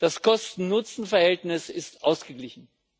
das Kosten Nutzen Verhältnis ist ausgeglichen.